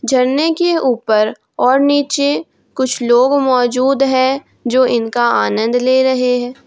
झरने के ऊपर और नीचे कुछ लोग मौजूद है जो इनका आनंद ले रहे है।